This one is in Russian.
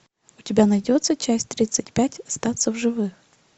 у тебя найдется часть тридцать пять остаться в живых